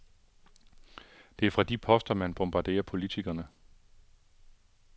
Det er fra de poster, han bombarderer politikerne.